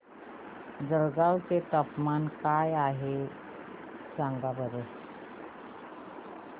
जळगाव चे तापमान काय आहे सांगा बरं